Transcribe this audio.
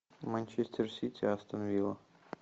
манчестер сити астон вилла